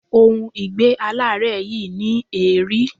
Ohun ìgbé-aláárẹ̀ yìí ní èérí.